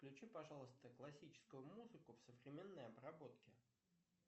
включи пожалуйста классическую музыку в современной обработке